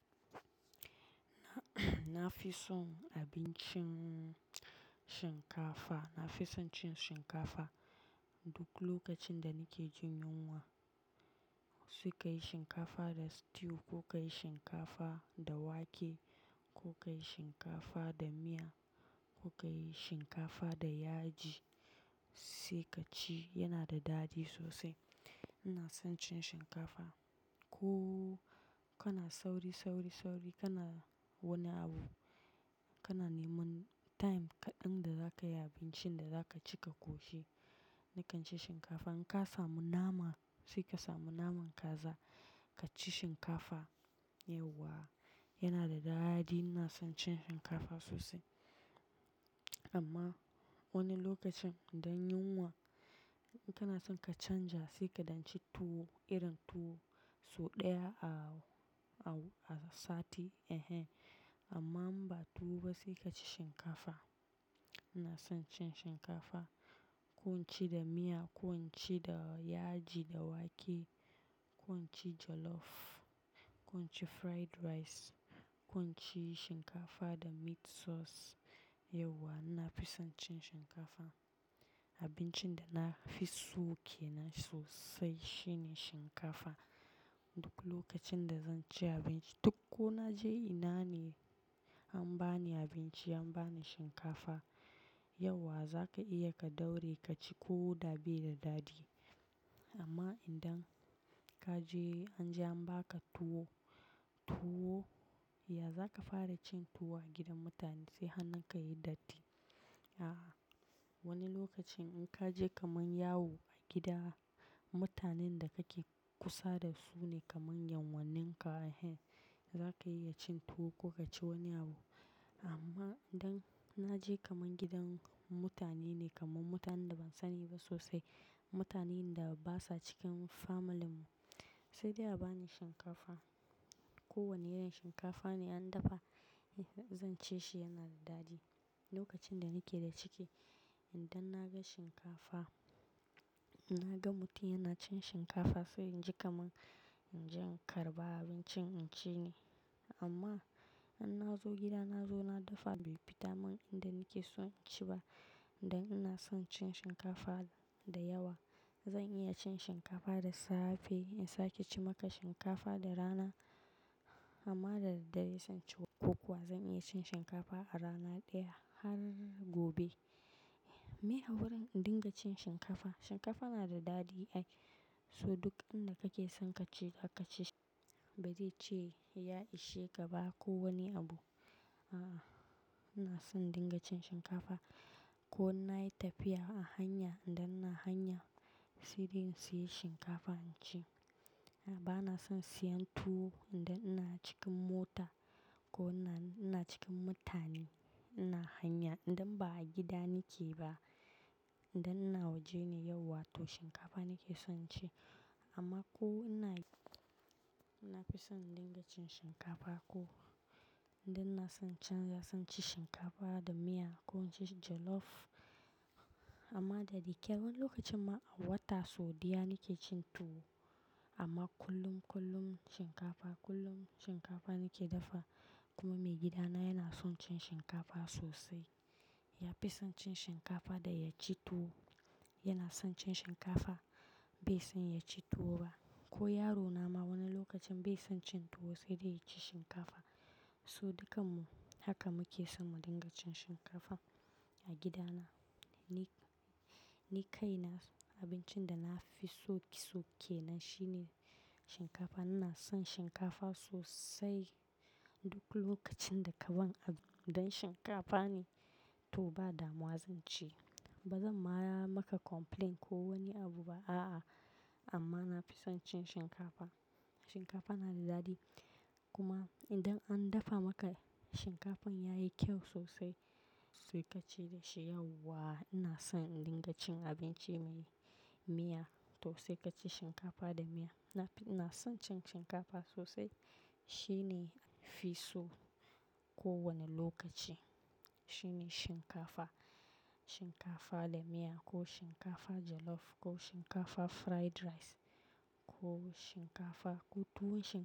Na fi son abincin shinkafa. Na fi son cin shinkafa duk lokacin da nake jin yunwa. Sai ka yi shinkafa da stew ko ka yi shinkafa da wake ko ka yi shinkafa da miya ko ka yi shinkafa da yaji sai ka ci, yana da daɗi sosai. Ina son cin shinkafa. Ko kana sauri, sauri, sauri, kana wani abu, kana neman time kaɗan da za ka yi abincin da za ka ci ka koshe, nakan ci shinkafa. In ka samu nama, sai ka samu naman kaza ka ci shinkafa, yauwa. Yana da daɗi. Ina son cin shinkafa sosai. Amma wani lokacin idan yunwa, in kana son ka canja sai kaɗan ci tuwo, irin tuwo. So ɗaya a sati eh he. Amma in ba tuwo ba sai ka ci shinkafa. Ina son cin shinkafa. Ko in ci da miya, ko in ci da yaji da wake, ko in ci jollof, ko in ci fried rice, ko in ci shinkafa da meat sauce, yauwa. Na fi son cin shinkafa. Abincin da na fi so kenan sosai shine shinkafa. Duk lokacin da zan ci abinci, duk ko na je ina ne an ba ni abinci, an ba ni shinkafa, yauwa. Za ka iya ka ɗauri ka ci ko da bai da daɗi. Amma idan ka je an je an ba ka tuwo, tuwo, ya za ka fara cin tuwo a gidan mutane sai hannunka yayi datti? A'a. Wani lokacin in ka je kamar yawo a gida, mutanen da kake kusa da su ne kamar yan wanninka eh he, za ka iya cin tuwo ko ka ci wani abu. Amma idan na je kamar gidan mutane ne kamar mutanen da ban sani ba sosai, mutanen da basa cikin family mu, sai dai a ba ni shinkafa. Ko wane irin shinkafa ne an dafa, zan ci shi yana da daɗi. Lokacin da nake da ciki, idan na ga shinkafa, na ga mutum yana cin shinkafa sai inji kamar inje in karɓa abincin in ci ne. Amma in na zo gida na zo na dafa bai fita man inda nake son ci ba. Inda ina son cin shinkafa da yawa. Zan iya cin shinkafa da safe in sake ci maka shinkafa da rana. Amma da dadare in shan kokowa zan iya cin shinkafa a rana ɗaya har gobe. Me a wurin in dinga cin shinkafa, shinkafa na da daɗi ai. So duk abin da kake son ka ci, ka ka ci shi. Ba zai ce ya ishe ka ba ko wani abu. A'a. Ina son dinga cin shinkafa. Ko na yi tafiya a hanya idan ina hanya, sai dai in sayi shinkafa in ci. A'a, ba na son siyan tuwo idan ina cikin mota ko ina cikin mutane ina hanya. Idan ba a gida nake ba, idan ina waje ne yauwa to shinkafa nake son ci. Amma ko ina-- na fi son dinga cin shinkafa ko idan na son canja, zan ci shinkafa da miya ko in ci jollof. Amma da dikirar lokacin ma a wata sau ɗaya nake cin tuwo. Amma kullum, kullum shinkafa, kullum shinkafa nake dafa. Kuma maigidana yana son cin shinkafa sosai. Ya fi son cin shinkafa da ya ci tuwo. Yana son cin shinkafa. Bai son ya ci tuwo ba. Ko yaro na ma wani lokacin bai son cin tuwo sai dai ya ci shinkafa. So dukanmu haka muke son mu dinga cin shinkafa a gidana. Ni, ni kai na abincin da na fi soke soke na shine shinkafa. Ina son shinkafa sosai. Duk lokacin da ka ba ni abu idan shinkafa ne, to ba damuwa zan ci. Ba zan ma maka complaint ko wani abu ba. A'a. Amma na fi son cin shinkafa. Shinkafa na da daɗi. Kuma idan an dafa maka shinkafan yayi kyau sosai, sai ka ci da shi yauwa. Ina son dinga cin abinci mai miya to sai ka ci shinkafa da miya. Na fi-- ina son cin shinkafa sosai. Shi ne piso ko wane lokaci. Shi ne shinkafa. Shinkafa da miya ko shinkafa jollof ko shinkafa fried rice ko shinkafa ko tuwo shi.